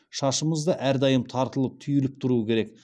шашымыз да әрдайым тартылып түйіліп тұру керек